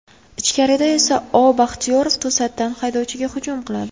Ichkarida esa O. Baxtiyorov to‘satdan haydovchiga hujum qiladi.